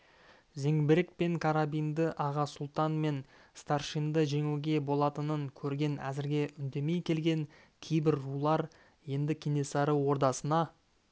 зеңбірек пен карабинді аға сұлтан мен старшинды жеңуге болатынын көрген әзірге үндемей келген кейбір рулар енді кенесары ордасына